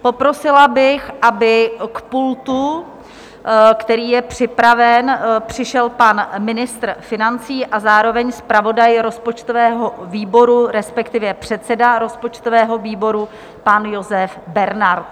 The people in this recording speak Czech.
Poprosila bych, aby k pultu, který je připraven, přišel pan ministr financí a zároveň zpravodaj rozpočtového výboru, respektive předseda rozpočtového výboru, pan Josef Bernard.